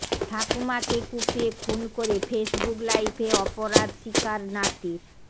ঠাকুমাকে কুপিয়ে খুন করে ফেসবুক লাইভে অপরাধ স্বীকার নাতির